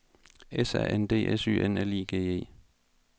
S A N D S Y N L I G E